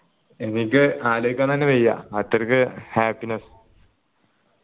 എനിക്ക് അലോയിക്കാൻ തന്നെ വയ്യ അത്രക്ക് happiness